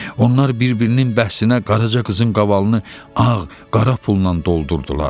Onlar bir-birinin bəhsinə Qaraca qızın qavalını ağ, qara pulla doldurdular.